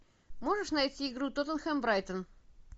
можешь найти игру тоттенхэм брайтон